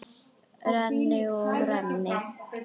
Renni og renni.